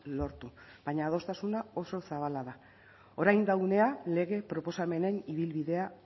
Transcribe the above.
lortu baina adostasuna oso zabala da orain da unea lege proposamenen ibilbidea